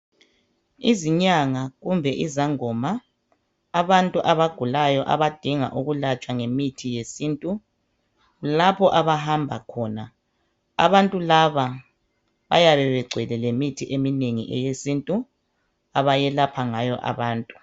Izinyanga kumbe izangoma, abantu abagulayo abadinga ukulatshwa ngemithi yesintu labo abahamba khona abantu laba bayabe begcwele ngemithi eminengi eyesintu abayelapha ngayo abantu.